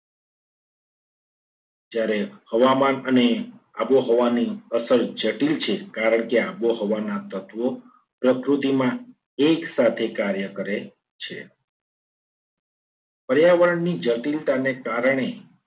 જ્યારે હવામાન અને આબોહવાની અસર જટિલ છે. કારણ કે આબોહવાના તત્વો પ્રકૃતિમાં એક સાથે કાર્ય કરે છે. પર્યાવરણની જટિલતાને કારણે